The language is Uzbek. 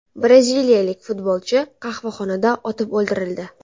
Braziliyalik futbolchi qahvaxonada otib o‘ldirildi.